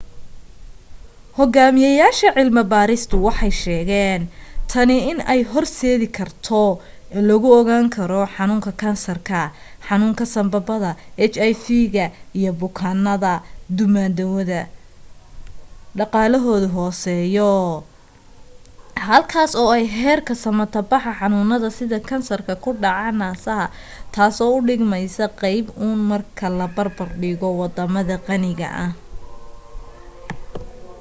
hogaamiyaasha cilmi barista waxay sheegen tani in ay hor seedi karto lagu ogaan karo xanuunka kansarka xanuunka sanbabada hiv ga iyo bukaanada duumadawadama dhaqaalahooda hooseya halkaas oo ay heerka samata baxa xanuunada sida kansarka ku dhaca nasaha taaso u dhigmeysa qeyb un marka loo barbar dhigo wadamada qaniga ah